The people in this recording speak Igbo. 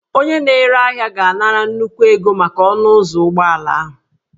Onye na-ere ahịa ga-anara nnukwu ego maka ọnụ ụzọ ụgbọala ahụ